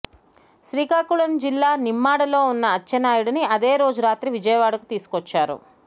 శ్రీకాకుళం జిల్లా నిమ్మాడలో ఉన్న అచ్చెన్నాయుడిని అదే రోజు రాత్రి విజయవాడకు తీసుకొచ్చారు